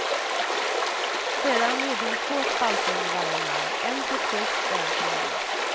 Sedan gjorde hon två spalter under varje namn, en för plus och en för minus.